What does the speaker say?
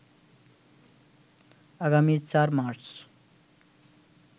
আগামী ৪ মার্চ